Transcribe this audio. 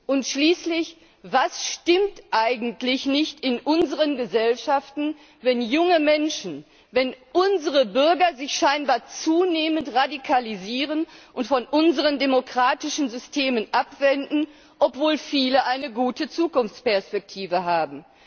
Und schließlich, was stimmt eigentlich nicht in unseren Gesellschaften, wenn junge Menschen, wenn unsere Bürger sich scheinbar zunehmend radikalisieren und von unseren demokratischen Systemen abwenden, obwohl viele eine gute Zukunftsperspektive haben?